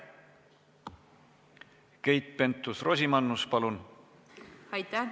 Keit Pentus-Rosimannus, palun!